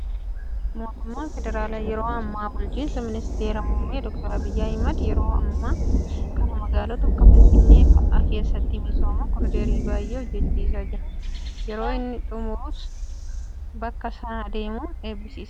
Mootummaan federaalaa yeroo ammaa bulchiinsi ministeera muummee doktar Abiyyi Ahmad yeroo ammaa kana magaalota akka Finfinnee fa'aa keessatti misooma koriidarii baay'ee hojjachiisaa jira. Yeroo inni xumuramus bakka sana deemuun eebbisiisa.